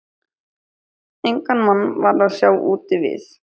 Engan mann var að sjá úti við.